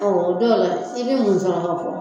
Ɔ o dɔw la i bɛ mun fɔ